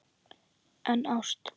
En ást?